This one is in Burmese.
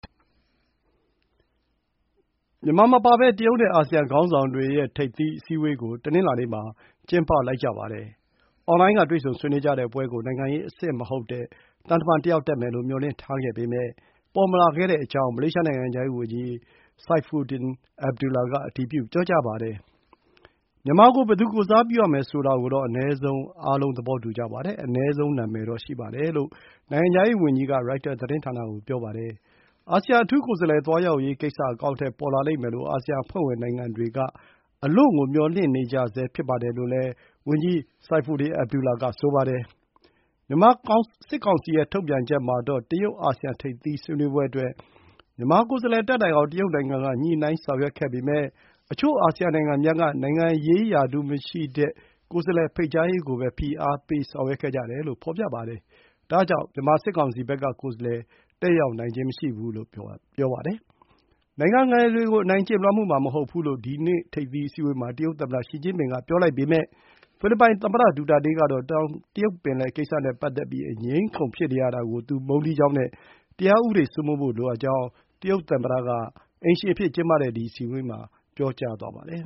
မြန်မာမပါဘဲ တရုတ်နဲ့ အာဆီယံခေါင်းဆောင်တွေရဲ့ ထိပ်သီးအစည်းအဝေးကို တနင်္လာနေ့မှာ ကျင်းပလိုက်ပါတယ်။ အွန်လိုင်းက တွေ့ဆုံဆွေးနွေးကြတဲ့ပွဲကို နိုင်ငံရေးအဆင့်မဟုတ်တဲ့ သံတမန်တယောက်တက်မယ်လို့ မျှော်လင့်ထားပေမယ့် ပေါ်မလာခဲ့ကြောင်း မလေးရှား နိုင်ငံခြားရေးဝန်ကြီး Saifuddin Abdullah က အတည်ပြု ပြောကြားပါတယ်။ “မြန်မာကို ဘယ်သူကိုယ်စားပြုရမယ်ဆိုတာကိုတော့ အနည်းဆုံး အားလုံး သဘောတူကြပါတယ်။ အနည်းဆုံး နာမည်တော့ ရှိပါတယ်” လို့ နိုင်ငံခြားရေး ဝန်ကြီးက ရိုက်တာသတင်းဌာနကို ပြောပါတယ်။ အာဆီယံ အထူးကိုယ်စားလှယ် သွားရောက်ရေးကိစ္စ အကောင်အထည် ပေါ်လာလိမ့်မယ်လို့ အာဆီယံအဖွဲ့ဝင်နိုင်ငံတွေက အလွန့်ကို မျှော်လင့်နေကြဆဲ ဖြစ်ပါတယ်လို့လည်း ဝန်ကြီး Saifuddin Abdullah က ဆိုပါတယ်။ မြန်မာစစ်ကောင်စီရဲ့ ထုတ်ပြန်ချက်မှာတော့ တရုတ်-အာဆီယံထိပ်သီးဆွေးနွေးပွဲအတွက် မြန်မာကိုယ်စားလှယ်တက်နိုင်အောင် တရုတ်နိုင်ငံကညှိုနှိုင်းဆောင်ရွက်ခဲ့ပေမယ့် အချို့ အာဆီယံနိုင်ငံများက နိုင်ငံရေးရာထူးမရှိတဲ့ ကိုယ်စားလှယ်ဖိတ်ကြားရေးကိုပဲ ဖိအားပေးဆောင်ရွက်ခဲ့တယ်လို့ ဖော်ပြပါတယ်။ ဒါကြောင့် မြန်မာစစ်ကောင်စီဘက်က ကိုယ်စားလှယ်တတ်ရောက်နိုင်ခြင်းမရှိဘူးလို့ ဖော်ပြပါတယ်။ နိုင်ငံငယ်တွေကို အနိုင်ကျင့် လွှမ်းမိုးမှာမဟုတ်ပါဘူးလို့ ဒီ ထိပ်သီးအစည်းအဝေး မှာ တရုတ်သမ္မတရှီကျင်းပင်က ပြောပါတယ်။ ဒါပေမဲ့ ဖိလစ်ပိုင်သမ္မတ ဒူတာတေးကတော့ တောင်တရုတ်ပင်လယ်ကိစ္စနဲ့ပတ်သက်ပြီး အငြင်းအခုန်ဖြစ်နေရတာကို သူမုန်းတီးကြောင်းနဲ့ တရားဥပဒေစိုမိုးဖို့လိုအပ်ကြောင်း တရုတ်သမ္မတက အိမ်ရှင် အဖြစ်ကျင်းပတဲ့ ဒီ အစည်းအဝေး မှာ ပြောကြားသွားပါတယ